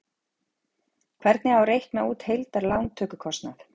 Hvernig á að reikna út heildar lántökukostnað?